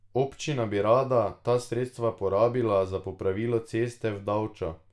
Občina bi rada ta sredstva porabila za popravilo ceste v Davčo.